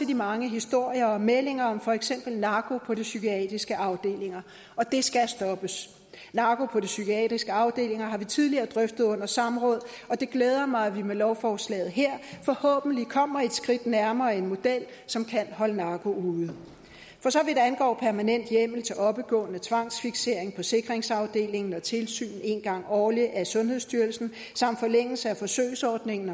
de mange historier og meldinger om for eksempel narko på de psykiatriske afdelinger og det skal stoppes narko på de psykiatriske afdelinger har vi tidligere drøftet under samråd og det glæder mig at vi med lovforslaget her forhåbentlig kommer et skridt nærmere en model som kan holde narko ude for så vidt angår permanent hjemmel til oppegående tvangsfiksering på sikringsafdelingen og tilsyn en gang årligt af sundhedsstyrelsen samt forlængelse af forsøgsordningen